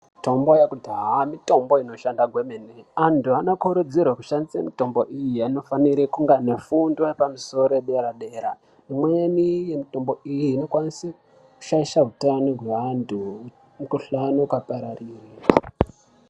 Mitombo yekudhaya mitombo inoshanda kwemene antu anokurudzirwa kushandisa mitombo iyi anofanira kunge ane fundo yepamusoro yedera dera Imweni yemitombo iyi yokwanisa kushaisha hutano hwevantu Mikuhlani ukapararira.